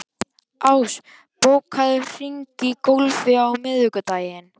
Ás, bókaðu hring í golf á miðvikudaginn.